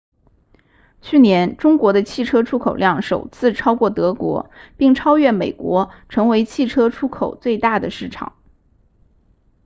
去年中国的汽车出口量首次超过德国并超越美国成为汽车出口最大的市场